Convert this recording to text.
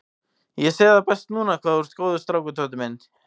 Ég sé það best núna hvað þú ert góður strákur, Tóti minn.